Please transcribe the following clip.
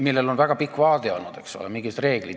Sellel on olnud väga pikk vaade ja mingid reeglid.